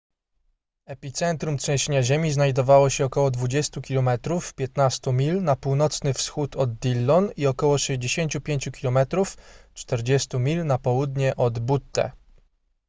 epicentrum trzęsienia ziemi znajdowało się około 20 km 15 mil na północny wschód od dillon i około 65 km 40 mil na południe od butte